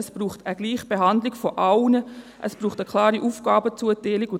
es braucht eine Gleichbehandlung aller, es braucht eine klare Aufgabenerteilung.